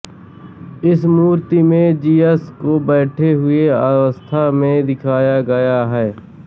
इस मूर्ति में जियस को बैठे हुई अवस्था में दिखाया गया है